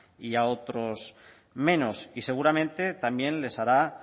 y a otros menos y seguramente también les hará